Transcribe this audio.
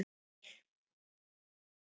Þeim hefur vegnað vel.